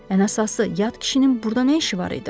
Ən əsası yad kişinin burda nə işi var idi?